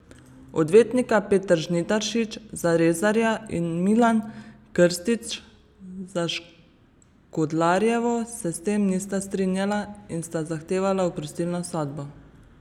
Odvetnika Peter Žnidaršič za Rezarja in Milan Krstič za Škodlarjevo se s tem nista strinjala in sta zahtevala oprostilno sodbo.